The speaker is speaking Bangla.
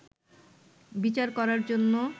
বিচার করার জন্য